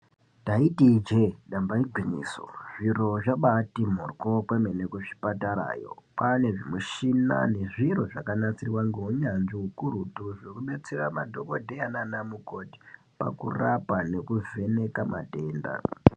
Ndaiti ijee damba igwinyiso zviro zvabaati mhoryo pano nekuzvipatarayo kwaane zvimushina nezviro zvakanatsirwa ngounyanzvi ukurutu zvokudetsera madhokodheya nanamukoti pakurapa nekuvheneka matenda.